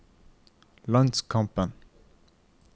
landskampen